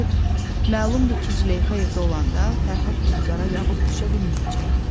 Məlumdur ki, Züleyxa evdə olanda Fərhad Gülzara yaxın düşə bilməyəcəkdi.